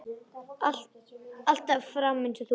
Alltaf fram eins og þú.